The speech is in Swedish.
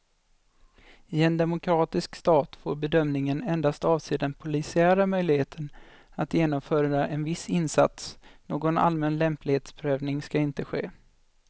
I en demokratisk stat får bedömningen endast avse den polisiära möjligheten att genomföra en viss insats, någon allmän lämplighetsprövning ska inte ske.